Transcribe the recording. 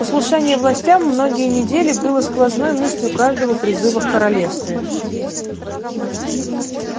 послушание властям многие недели было сквозной мыслью каждого призыва в королевстве